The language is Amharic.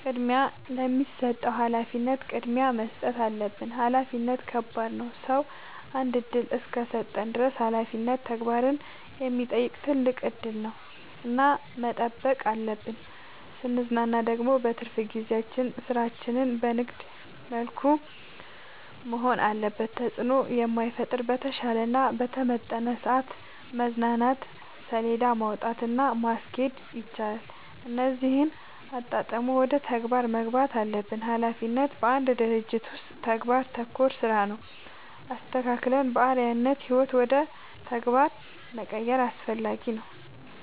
ቅድሚያ ለሚሰጠው ሀላፊነት ቅድሚያ መስጠት አለብን። ሀላፊነት ከባድ ነው ሰው አንድ እድል እስከሰጠን ድረስ ሀላፊነት ተግባርን የሚጠይቅ ትልቅ እድል ነው እና መጠበቅ አለብን። ስንዝናና ደግሞ በትርፍ ጊዜያችን ስራችን በንግድ መልኩ መሆን አለበት ተጽዕኖ በማይፈጥር በተሻለ እና በተመረጠ ሰዐት መዝናናት ሴለዳ ማውጣት እና ማስኬድ ይቻላል እነዚህን አጣጥሞ ወደ ተግባር መግባት አለብን። ሀላፊነት በአንድ ድርጅት ውስጥ ተግባር ተኮር ስራ ነው። አስተካክለን በአርዐያነት ህይወት ውደ ተግባር መቀየር አስፈላጊ ነው።